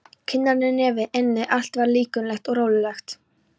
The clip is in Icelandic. Kinnarnar, nefið, ennið, allt var þetta linkulegt og rolulegt.